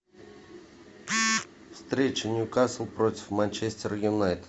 встреча ньюкасл против манчестер юнайтед